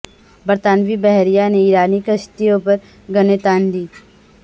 برطانوی بحریہ نے ایرانی کشتیوں پر گنیں تان لیں